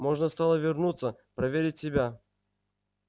можно стало вернуться проверить себя